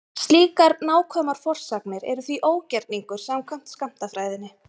Slíkar nákvæmar forsagnir eru því ógerningur samkvæmt skammtafræðinni.